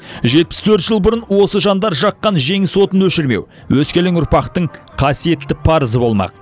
жетпіс төрт жыл бұрын осы жандар жаққан жеңіс отын өшірмеу өскелең ұрпақтың қасиетті парызы болмақ